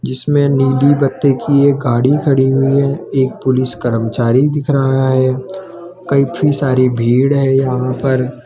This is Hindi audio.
जिसमें नीली बत्ती की यह गाड़ी खड़ी हुई है एक पुलिस कर्मचारी दिख रहा है काफी सारी भीड़ है यहां पर।